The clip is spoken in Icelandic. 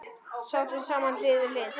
Sátum saman hlið við hlið.